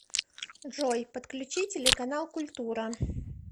джой подключи телеканал культура